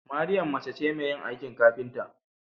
Mariam mace ce Mai yin aikin kafinta